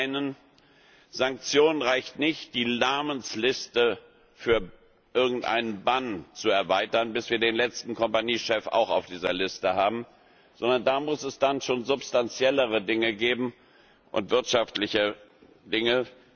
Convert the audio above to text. Zum einen, für Sanktionen reicht nicht, die Namensliste für irgendeinen Bann zu erweitern, bis wir den letzten Kompaniechef auch auf dieser Liste haben, sondern da muss es dann schon substanziellere Dinge geben und wirtschaftliche Dinge.